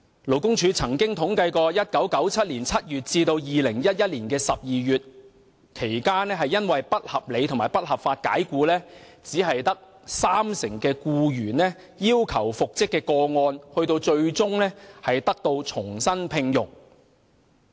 勞工處曾統計，在1997年7月至2011年12月期間遭不合理及不合法解僱的僱員中，只有三成要求復職的僱員最終獲重新聘用。